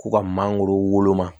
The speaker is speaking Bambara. K'u ka mangoro woloma